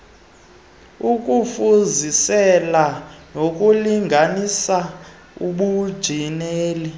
ukufuzisela nokulinganisa ubunjineli